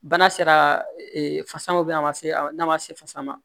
Bana sera fasa ma a ma se n'a ma se fasa ma